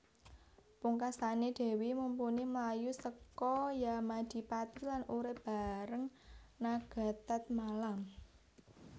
Pungkasané Dèwi Mumpuni mlayu seka Yamadipati lan urip bareng Nagatatmala